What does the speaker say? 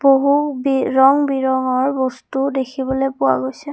বহু বি ৰং বিৰঙৰ বস্তুও দেখিবলৈ পোৱা গৈছে।